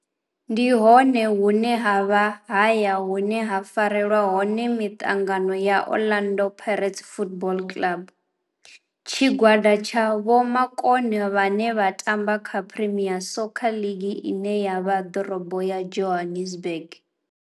Ndi hone hune havha haya hune ha farelwa hone mitangano ya Orlando Pirates Football Club. Tshigwada tsha vhomakone vhane vha tamba kha Premier Soccer League ine ya vha Dorobo ya Johannesburg.